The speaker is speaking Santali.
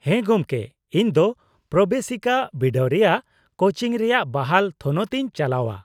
-ᱦᱮᱸ ᱜᱚᱢᱠᱮ, ᱤᱧ ᱫᱚ ᱯᱨᱚᱵᱮᱥᱤᱠᱟ ᱵᱤᱰᱟᱹᱣ ᱨᱮᱭᱟᱜ ᱠᱳᱪᱤᱝ ᱨᱮᱭᱟᱜ ᱵᱟᱦᱟᱞ ᱛᱷᱚᱱᱚᱛ ᱤᱧ ᱪᱟᱞᱟᱣᱼᱟ ᱾